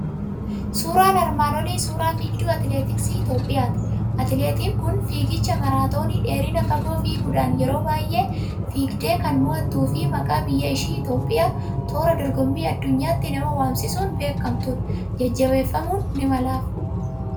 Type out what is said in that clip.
Suuraan armaan olii suuraa fiigduu atileetiksii Itoophiyaati. Atileetiin kun fiiggicha maraatoonii dheerina fagoo fiiguudhaan yeroo baay'ee fiigdeekan moo'attuu fi maqaa biyya ishii Itoophiyaa toora dorgommii addunyaatti nama waamsisuun beekamtudha. Jajjabeeffamuun ni malaaf!